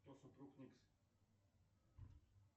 кто супруг никс